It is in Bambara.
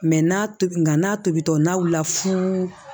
n'a tobi nga n'a tobitɔ n'aw la fu